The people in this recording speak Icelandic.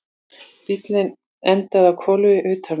Bíllinn endaði á hvolfi utan vegar